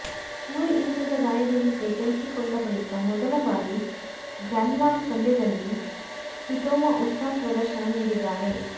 ಚೂರಿ ಇರಿತದ ಗಾಯದಿಂದ ಚೇತರಿಸಿಕೊಂಡ ಬಳಿಕ ಮೊದಲ ಬಾರಿ ಗ್ರಾನ್ಸ್ಲಾಮ್ ಪಂದ್ಯದಲ್ಲಿ ಕ್ವಿಟೋವಾ ಉತ್ತಮ ಪ್ರದರ್ಶನ ನೀಡಿದ್ದಾರೆ